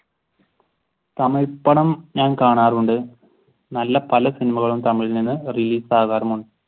തമിഴ് പടം ഞാൻ കാണാറുണ്ട്. നല്ല പല സിനിമകളും തമിഴ ഇൽ നിന്ന് release ആകാറും ഉണ്ട്